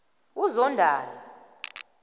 uzondani